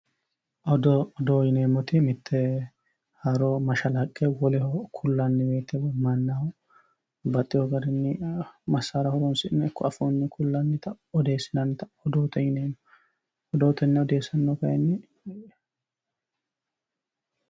odoo odoo yineemmoti haaro mashalaqqe woleho kullanni woyte